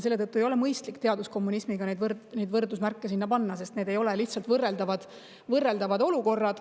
Selle tõttu ei ole mõistlik teadusliku kommunismi kõrvale võrdusmärki panna, sest need ei ole võrreldavad olukorrad.